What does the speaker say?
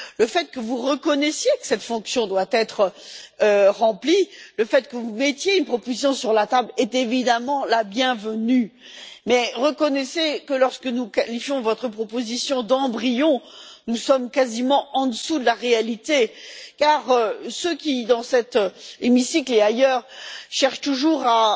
Le fait que vous reconnaissiez que cette fonction doit être remplie, le fait que vous mettiez une proposition sur la table, est évidemment la bienvenue, mais reconnaissez que lorsque nous qualifions votre proposition d'embryon, nous sommes quasiment en dessous de la réalité, car ceux qui, dans cet hémicycle et ailleurs, cherchent toujours à